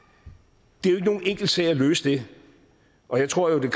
det er nogen enkel sag at løse det og jeg tror at